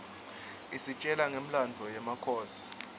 isitjela ngemlandvo yemakhosi